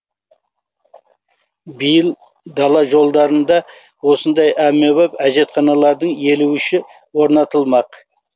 биыл дала жолдарында осындай әмбебап әжетханалардың елу үші орнатылмақ